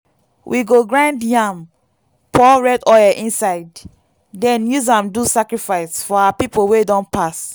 we go grind yam pour red oil inside then use am do sacrifice for our people wey don pass.